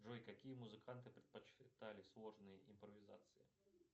джой какие музыканты предпочитали сложные импровизации